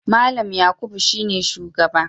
Mallam Yakubu shine shugaba.